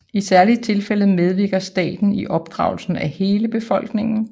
I særlige tilfælde medvirker staten i opdragelsen af hele befolkninger